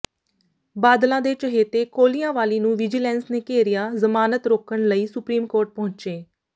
ਬਾਦਲਾਂ ਦੇ ਚਹੇਤੇ ਕੋਲਿਆਂਵਾਲੀ ਨੂੰ ਵਿਜੀਲੈਂਸ ਨੇ ਘੇਰਿਆ ਜ਼ਮਾਨਤ ਰੋਕਣ ਲਈ ਸੁਪਰੀਮ ਕੋਰਟ ਪਹੁੰਚੇ